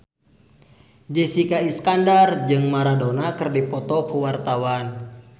Jessica Iskandar jeung Maradona keur dipoto ku wartawan